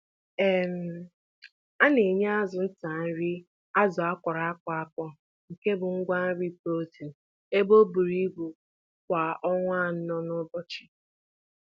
A-nenye azụ Fry um nri egweriri-egweri um kwa awa anọ n'ụbọchị.